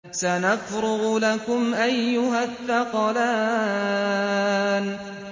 سَنَفْرُغُ لَكُمْ أَيُّهَ الثَّقَلَانِ